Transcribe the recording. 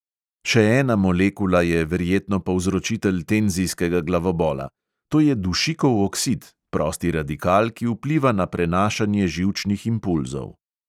Še ena molekula je verjetno povzročitelj tenzijskega glavobola: to je dušikov oksid, prosti radikal, ki vpliva na prenašanje živčnih impulzov.